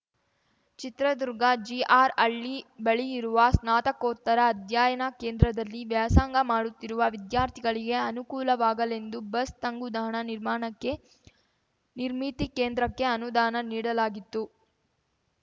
ಚಿತ್ರದುರ್ಗ ಜಿಆರ್‌ಹಳ್ಳಿ ಬಳಿ ಇರುವ ಸ್ನಾತಕೋತ್ತರ ಅಧ್ಯಯನ ಕೇಂದ್ರದಲ್ಲಿ ವ್ಯಾಸಂಗ ಮಾಡುತ್ತಿರುವ ವಿದ್ಯಾರ್ಥಿಗಳಿಗೆ ಅನುಕೂಲವಾಗಲೆಂದು ಬಸ್‌ ತಂಗುದಾಣ ನಿರ್ಮಾಣಕ್ಕೆ ನಿರ್ಮಿತಿ ಕೇಂದ್ರಕ್ಕೆ ಅನುದಾನ ನೀಡಲಾಗಿತ್ತು